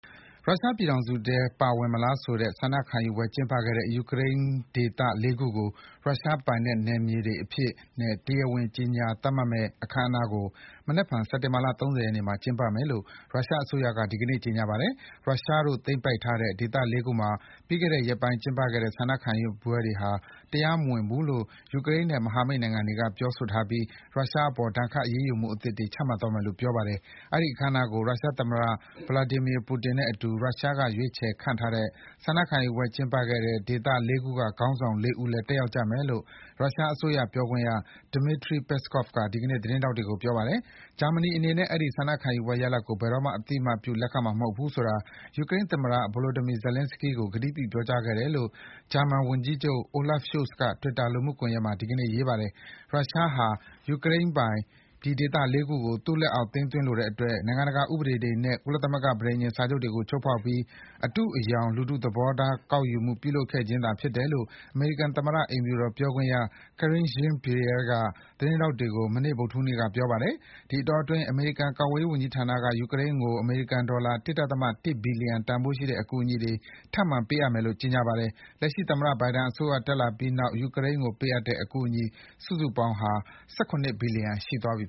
ရုရှားပြည်ထောင်စုထဲ ပါဝင်မလားဆိုတဲ့ ဆန္ဒခံယူပွဲကျင်းပခဲ့တဲ့ ယူကရိန်းဒေသ ၄ ခုကို ရုရှားပိုင်နက်နယ်မြေတွေအဖြစ်နဲ့ တရားဝင်ကြေညာသတ်မှတ်မယ့် အခမ်းအနားကို မနက်ဖြန် စက်တင်ဘာလ ၃၀ ရက်နေ့မှာကျင်းပမယ်လို့ ရုရှားအစိုးရက ဒီကနေ့ ကြေညာပါတယ်။ ရုရှားတို့သိမ်းပိုက်ထားတဲ့ ဒေသ ၄ ခုမှာ ပြီးခဲ့တဲ့ရက်ပိုင်းကျင်းပခဲ့တဲ့ ဆန္ဒခံယူပွဲဟာ တရားမဝင်ဘူးလို့ ယူကရိန်းနဲ့မဟာမိတ်နိုင်ငံတွေက ပြောထားပြီး ရုရှားအပေါ် ဒဏ်ခတ် အရေးယူမှုအသစ်တွေ ချမှတ်သွားမယ်လို့ ပြောပါတယ်။ အဲဒီအခမ်းအနားကို ရုရှားသမ္မတ Vladimir Putin နဲ့အတူ ရုရှားက ရွေးချယ်ခန့်အပ်ထားတဲ့ ဆန္ဒခံယူပွဲကျင်းပခဲ့တဲ့ ဒေသ ၄ ခုက ခေါင်းဆောင် ၄ ဦးလည်း တက်ရောက်ကြမယ် လို့ ရုရှားအစိုးရပြောခွင့်ရ Dmitry Peskov က ဒီကနေ့ သတင်းထောက်တွေကို ပြောပါတယ်။ ဂျာမနီအနေနဲ့ အဲဒီဆန္ဒခံယူပွဲရလဒ်ကို ဘယ်တော့မှ အသိအမှတ်ပြုလက်ခံမှာမဟုတ်ဘူးဆိုတာ ယူကရိန်းသမ္မတ Volodymyr Zelenskyy ကို ကတိပြု ပြောကြားခဲ့တယ်လို့ ဂျာမန်ဝန်ကြီးချုပ် Olaf Scholz က Twitter လူမှုကွန်ယက်မှာ ဒီကနေ့ ရေးပါတယ်။ ရုရှားဟာ ယူကရိန်းပိုင် ဒီဒေသ ၄ ခုကို သူ့လက်အောက် သိမ်းသွင်းလိုတဲ့အတွက် နိုင်ငံတကာဥပဒေတွေနဲ့ ကုလသမဂ္ဂပဋိညာဉ်စာချုပ်တွေကိုချိုးဖောက်ပြီး ဒီ အတုအယောင် လူထုသဘောထားကောက်ခံမှု ပြုလုပ်ခဲ့ခြင်းသာဖြစ်တယ်လို့ အမေရိကန်သမ္မတ အိမ်ဖြူတော်ပြောခွင့်ရ Karine Jean-Pierre ကလည်း သတင်းထောက်တွေကို မနေ့ ဗုဒ္ဓဟူးနေ့က ပြောကြားခဲ့ပါတယ်။ ဒီအတောအတွင်း အမေရိကန် ကာကွယ်ရေးဝန်ကြီးဌာနက ယူကရိန်းကို အမေရိကန် ဒေါ်လာ ၁.၁ ဘီလီယံ တန်ဖိုးရှိတဲ့အကူအညီတွေ ထပ်မံပေးအပ်မယ်လို့ ကြေညာပါတယ်။ လက်ရှိသမ္မတဘိုင်ဒန်အစိုးရတက်လာပြီးနောက် ယူကရိန်းကိုပေးအပ်တဲ့အကူအညီ စုစုပေါင်းဟာ ၁၇ ဘီလီယံ ရှိသွားပြီ